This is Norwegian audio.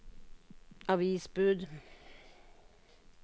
avisbud